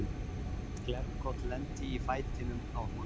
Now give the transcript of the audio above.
Glerbrot lenti í fætinum á honum.